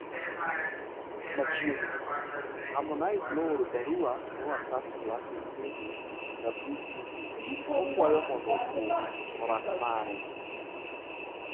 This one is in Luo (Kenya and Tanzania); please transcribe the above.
Machiegni, Harmonize nooro barua ne Wasafi Classic Baby WCB kokwayo mondo thum orak mare.